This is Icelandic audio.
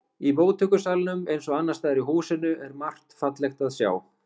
Í móttökusalnum eins og annars staðar í húsinu er margt fallegt að sjá.